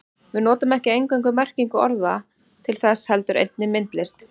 Við notum ekki eingöngu merkingu orða til þess heldur einnig myndlist.